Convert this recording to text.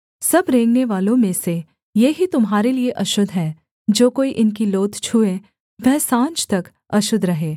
सब रेंगनेवालों में से ये ही तुम्हारे लिये अशुद्ध हैं जो कोई इनकी लोथ छूए वह साँझ तक अशुद्ध रहे